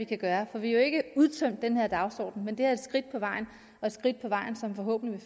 kan gøre for vi har jo ikke udtømt den her dagsorden men det er et skridt på vejen og et skridt på vejen som forhåbentlig